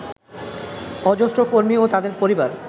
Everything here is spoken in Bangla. অজস্র কর্মী ও তাঁদের পরিবার